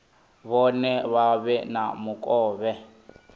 vhone vha vhe na mukovhe